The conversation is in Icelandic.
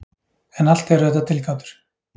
En allt eru þetta tilgátur.